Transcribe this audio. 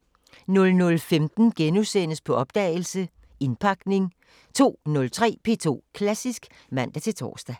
00:15: På opdagelse – Indpakning * 02:03: P2 Klassisk (man-tor)